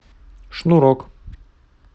шнурок